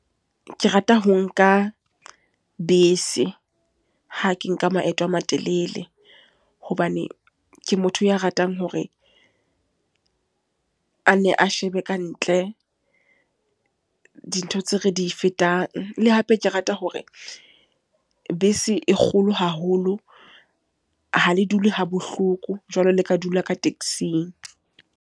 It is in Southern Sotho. Ke rata ho nka bese, ha ke nka maeto a matelele. Hobane ke motho ya ratang hore, a ne a shebe ka ntle. Dintho tseo re di e fetang. Le hape, ke rata hore bese e kgolo haholo. Ha le dule ha bohloko jwalo, le ka dula ka taxi-ng.